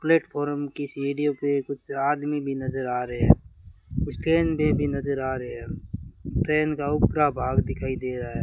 platform कि सीढ़ियों पे कुछ आदमी भी नजर आ रहे हैं कुछ ट्रेन भी भी नजर आ रहे हैं ट्रेन का ऊपरा भाग दिखाई दे रहा --